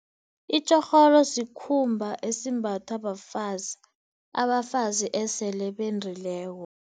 Itjorholo sikhumba esimbathwa bafazi, abafazi esele bendileko.